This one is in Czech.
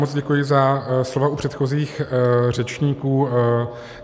Moc děkuji za slova u předchozích řečníků.